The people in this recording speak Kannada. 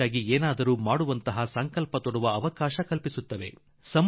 ದೇಶಕ್ಕಾಗಿ ಏನನ್ನಾದರೂ ಮಾಡುವ ಸಂಕಲ್ಪ ತೊಡುವ ಅವಕಾಶ ಇದಾಗಬಹುದಾಗಿದೆ